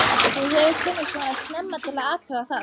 Þú hefur komið svona snemma til að athuga það.